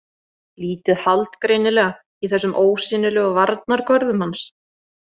Lítið hald greinilega í þessum ósýnilegu varnargörðum hans.